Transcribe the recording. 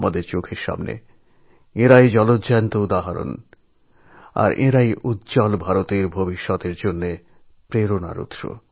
আমাদের চোখের সামনে যে জীবন্ত বাস্তব দৃষ্টান্তগুলি আছে সেগুলি ভবিষ্যতে উজ্জ্বল ভারত গঠনের প্রেরণার কারণ